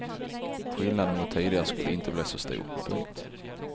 Skillnaden mot tidigare skulle inte bli så stor. punkt